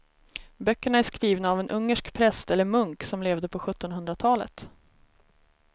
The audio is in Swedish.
Böckerna är skrivna av en ungersk präst eller munk som levde på sjuttonhundratalet.